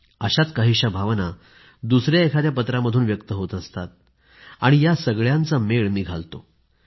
अशाच काहीशा भावना दुसऱ्या एखाद्या पत्रामधून व्यक्त होत असतात या सर्वांचा मेळ मी घालतो